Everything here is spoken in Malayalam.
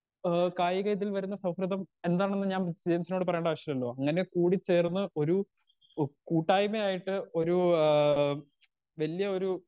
സ്പീക്കർ 2 ഏ കായിക ഇതിൽ വരുന്ന സൗഹൃദം എന്താണെന്ന് ഞാൻ ജെയിംസിനോട് പറയണ്ട ആവശ്യല്ലല്ലൊ അങ്ങനെ കൂടി ചേർന്ന് ഒരു ഓ കൂട്ടായ്മയായിട്ട് ഒരു ആ വല്ല്യ ഒരു.